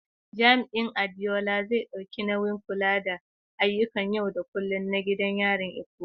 Jami’in Adeola, zai ɗauki nauyin kula da ayyukan yau da kullum na gidan yarin Ikoyi.